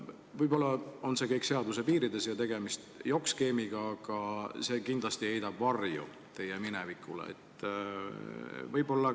Võib-olla on see kõik seaduse piirides ja tegemist jokk-skeemiga, aga see kindlasti heidab varju teie minevikule.